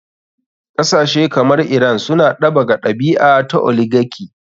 Kasashe kamar iran suna ɗabaka ɗabi a ta oligarchy.